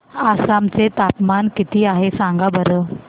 आसाम चे तापमान किती आहे सांगा बरं